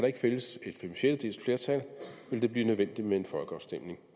ikke findes et femsjettedeles flertal vil det blive nødvendigt med en folkeafstemning